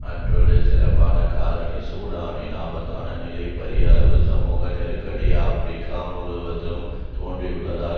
மற்றொரு சிறப்பான காரணி சூடானின் ஆபத்தான நிலை பரியளவு சமூக நெருக்கடி ஆபிரிக்கா முழுவதிலும் தோன்றியுள்ளதால்